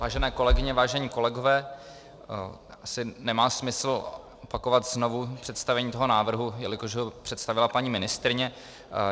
Vážené kolegyně, vážení kolegové, asi nemá smysl opakovat znovu představení toho návrhu, jelikož ho představila paní ministryně.